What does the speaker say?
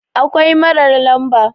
akwai marar lamba